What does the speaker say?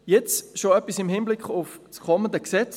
Nun schon etwas im Hinblick auf das kommende Gesetz: